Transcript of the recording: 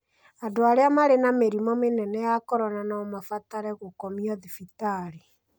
Andũ arĩa marĩ na mĩrimũ mĩnene ya corona no mabatare gũkomio thibitarĩ.